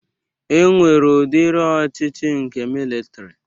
E nwere udiri ọchịchị nke militri